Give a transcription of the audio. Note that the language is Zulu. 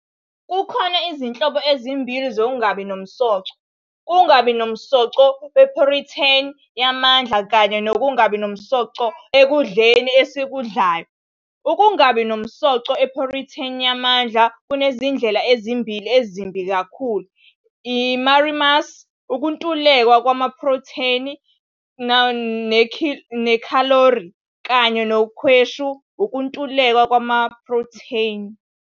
Kukhona izinhlobo ezimbili zokungabi namsoco- ukungabi namsoco wephrotheni yamandla kanye nokungabi namsoco ekudleni esikudlayo. Ukungabi namsoco wephrotheni yamandla kunezindlela ezimbili ezimbi kakhulu- i-marasmus, ukuntuleka kwephrotheni nekhalori, kanye nekhwashu, ukuntuleka kwephrotheni.